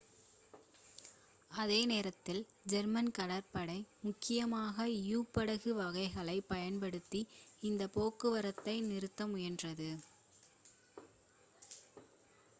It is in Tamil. அதே நேரத்தில் ஜெர்மன் கடற்படை முக்கியமாக யு-படகு வகைகளைப் பயன்படுத்தி இந்த போக்குவரத்தை நிறுத்த முயன்றது